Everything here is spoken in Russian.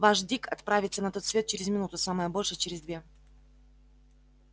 ваш дик отправится на тот свет через минуту самое большее через две